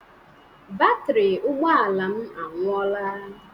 Batrị ụgbọala m anwụoọla.